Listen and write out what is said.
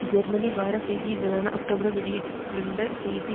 Germany வார செய்தி இதழான அக்டோபரில் வெளியிட்டிருந்த செய்தி